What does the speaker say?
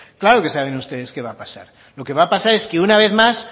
claro que saben ustedes qué va a pasar lo que va a pasar es que una vez más